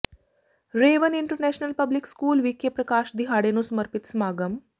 ਰੇਅ one international public school ਵਿਖੇ ਪ੍ਰਕਾਸ਼ ਦਿਹਾੜੇ ਨੂੰ ਸਮਰਪਿਤ ਸਮਾਗਮ